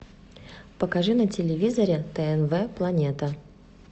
покажи на телевизоре тнв планета